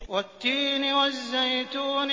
وَالتِّينِ وَالزَّيْتُونِ